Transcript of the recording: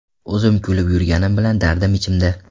O‘zim kulib yurganim bilan, dardim ichimda.